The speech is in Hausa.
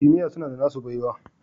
Kimiyya suna da nasu baiwa